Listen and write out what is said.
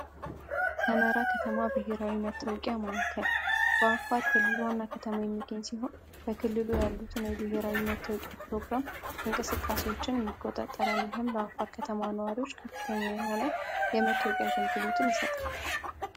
ሰመራ ከተማ ብሔራዊ መታወቂያ ማዕከል በአፋር ክልል ዋና ከተማ የሚገኝ ሲሆን በክልሉ ያሉትን የብሔራዊ መተወቂያ ፕሮግራም እንቀስቃሴዎችን ይቆጣጠራል። ይህም ለአፋር ከተማ ነዋሪዎች ከፍተኛ የሆነ የመታወቂያ አገልግሎትን ይሰጣል።